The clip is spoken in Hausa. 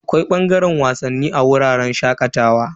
Akwai bangaren wasanni a wuraren shakatawa.